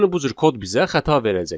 Yəni bu cür kod bizə xəta verəcək.